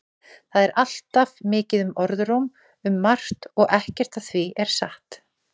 Það er alltaf mikið um orðróm um margt og ekkert af því er satt.